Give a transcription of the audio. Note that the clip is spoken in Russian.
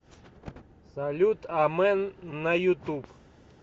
салют амен на ютуб